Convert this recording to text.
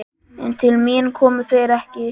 En til mín komu þeir ekki.